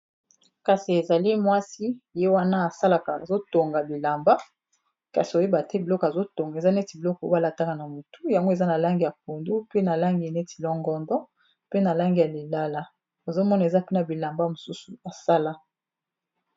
Kasi ezali mwasi ye wana asalaka azo tonga bilamba kasi oyeba te biloko azo tonga eza neti biloko oyo ba lataka yango na motu, yango eza na langi ya pondu, pe na langi neti longondo, pe na langi neti ya lilala, ozo mona eza pe na bilamba mosusu asala.